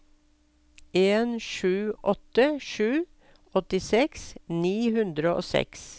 en sju åtte sju åttiseks ni hundre og seks